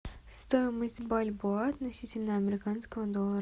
стоимость бальбоа относительно американского доллара